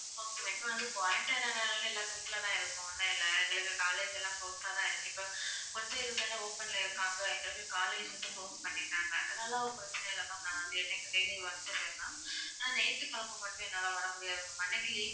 இப்போ வந்து quarantine நால எல்லாரும் வீட்டுல தான் இருக்கோம் ஒன்னும் இல்ல எங்களுக்கு college லாம் closed டா தான் இருக்கு இப்போ கொஞ்சம் இது தான open ல இருக்காங்க எங்களுக்கு college வந்து close பண்ணிட்டாங்க அதல்லாம் ஒன்னும் பிரச்சனை இல்ல ma'am நான் வந்து daily வந்துடறேன் ma'am ஆனா ஞாயிற்று கிழமை மட்டும் என்னால வர்ற முடியாது ma'am அன்னைக்கு leave வா